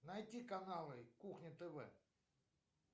найти каналы кухня тв